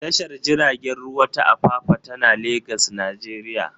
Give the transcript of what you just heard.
Tashar jiragen ruwa ta Apapa tana Legas, Najeriya.